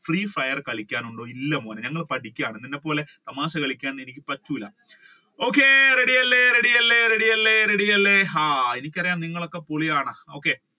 free fire കളിക്കാൻ ഉണ്ടോ ഇല്ല മോനെ ഞങ്ങൾ പഠിക്കുകയാണ് നിന്നെ പോലെ തമാശ കളിക്കാൻ എനിക്ക് പറ്റൂല ready അല്ലെ ready അല്ലെ ready അല്ലെ ready അല്ലെ എനിക്ക് അറിയാം നിങ്ങൾ ഒക്കെ പൊളി ആണെന്ന്. okay